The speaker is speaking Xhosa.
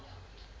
a okanye ngo